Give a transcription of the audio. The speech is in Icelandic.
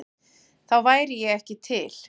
Þá væri ég ekki til?